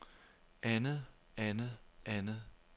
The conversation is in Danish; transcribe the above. andet andet andet